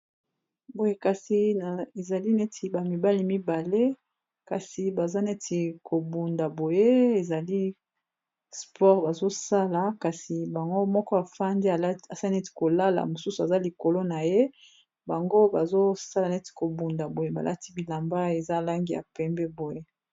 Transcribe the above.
Boye kasi ezali neti ba mibale mibale, kasi baza neti bazobunda, boye ezali sport bazosala, kasi bango moko bafandi asali neti kolala, mosusu aza likolo ya moninga, bango bazosala neti kobunda, balati bilamba eza na langi ya pembe.